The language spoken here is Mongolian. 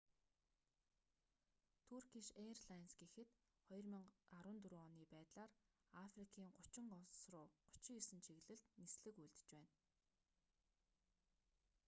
туркиш эйрлайнс гэхэд 2014 оны байдлаар африкийн 30 улс руу 39 чиглэлд нислэг үйлдэж байна